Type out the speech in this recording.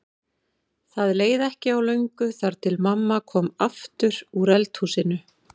Það leið ekki á löngu þar til mamma kom aftur úr eldhúsinu.